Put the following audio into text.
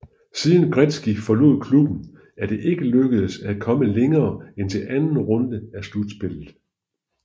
Siden Gretzky forlod klubben er det ikke lykkedes at komme længere end til anden runde af slutspillet